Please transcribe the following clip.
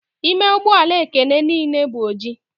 Ime ụgbọ ala Ekene niile bụ oji.